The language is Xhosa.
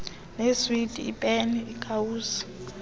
neeswiti iipeni iikawusi